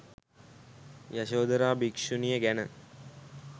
යශෝධරා භික්ෂුණිය ගැන